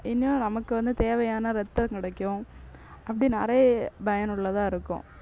இன்னும் நமக்கு வந்து தேவையான ரத்தம் கிடைக்கும் அப்படி நிறைய பயனுள்ளதா இருக்கும்.